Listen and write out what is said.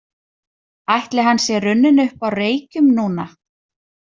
Ætli hann sé runninn upp á Reykjum núna?